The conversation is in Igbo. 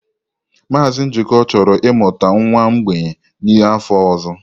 Mazị Njoku chọrọ ịmụta nwa mgbei n'afọ ọzọ.